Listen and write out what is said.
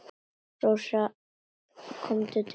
Rósa kom til mín.